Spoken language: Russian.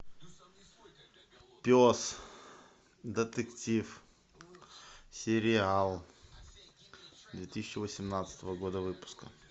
пес детектив сериал две тысячи восемнадцатого года выпуска